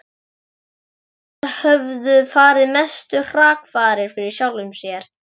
Bretar höfðu farið mestu hrakfarir fyrir sjálfum sér.